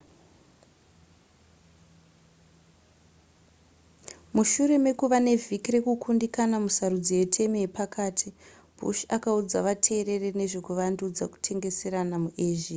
mushure mekuva nevhiki rekukundikana musarudzo yetemu yepakati bush akaudza vateereri nezve kuvandudza kutengeserana muasia